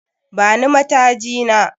Bani mataji na